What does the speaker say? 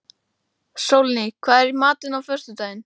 Sólný, hvað er í matinn á föstudaginn?